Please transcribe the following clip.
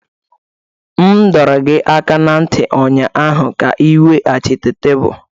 M dọrọ gị aka ná ntị ụnyaahụ ka ị weghachite tebụl!